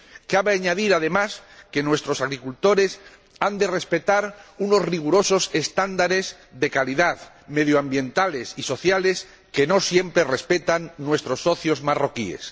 Cabe añadir, además, que nuestros agricultores han de respetar unos rigurosos estándares de calidad, medioambientales y sociales que no siempre respetan nuestros socios marroquíes.